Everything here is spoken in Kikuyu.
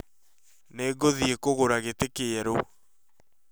Nĩngũthiĩ kũgũra gĩtĩ kĩerũ